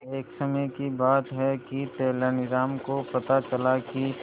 एक समय की बात है कि तेनालीराम को पता चला कि